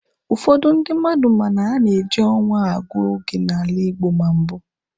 Ụfọdụ ndị mmadụ ma na a na-eji ọnwa agụ oge n'ala Igbo ma mbụ